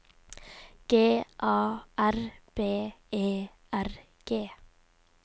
G A R B E R G